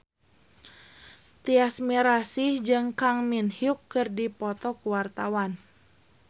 Tyas Mirasih jeung Kang Min Hyuk keur dipoto ku wartawan